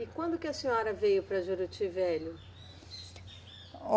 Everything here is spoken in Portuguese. E quando que a senhora veio para Juruti Velho?